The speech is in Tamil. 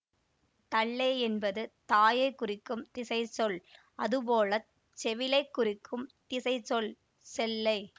தள்ளை என்பது தாயை குறிக்கும் திசை சொல் அதுபோலச் செவிலைக் குறிக்கும் திசை சொல் செள்ளை